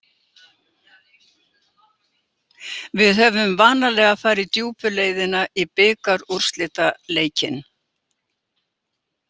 Við höfum vanalega farið djúpu leiðina í bikarúrslitaleikinn.